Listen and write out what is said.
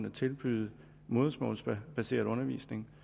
at tilbyde modersmålsbaseret undervisning